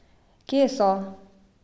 Kje so?